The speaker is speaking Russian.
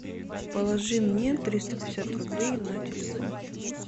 положи мне триста пятьдесят рублей на телефон